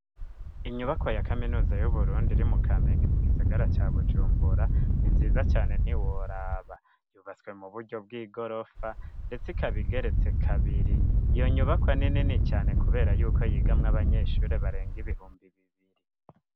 Inyubako ya kaminuza y'uburundi iri mu kamengi mu gisagara ca bujumbura ntinziza cane ntiworaba yubatswe mu buryo bw'i gorofa, ndetse ikabigeretse kabiri iyo nyubakwa ninini cane, kubera yuko yigamwa abanyeshuri barenga ibihumbi bibiri.